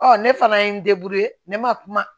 Ɔ ne fana ye n ne ma kuma